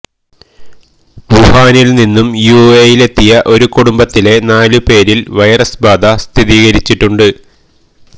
വുഹാനിൽനിന്നു യുഎഇയിലെത്തിയ ഒരു കുടുംബത്തിലെ നാല് പേരിൽ വൈറസ് ബാധ സ്ഥിരീകരിച്ചിട്ടുണ്ട്